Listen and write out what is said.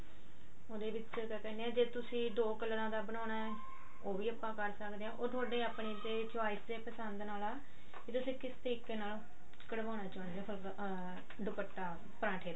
ਉਹਦੇ ਵਿੱਚ ਤਾਂ ਆਂ ਕੀਹਨੇ ਜੇ ਤੁਸੀਂ ਦੋ ਕਲਰਾਂ ਦਾ ਬਣਾਉਣਾ ਉਹ ਵੀ ਆਪਾਂ ਕਰ ਸਕਦੇ ਆਂ ਉਹ ਥੋਡੇ ਆਪਣੇ ਤੇ choice ਤੇ ਪਸੰਦ ਨਾਲ ਆ ਵੀ ਤੁਸੀਂ ਕਿਸ ਤਰੀਕੇ ਨਾਲ ਕਢਵਾਨਾ ਚਾਹੁੰਦੇ ਓ ਤਾਂ ਆ ਦੁਪੱਟਾ ਪਰਾਂਠੇ ਦਾ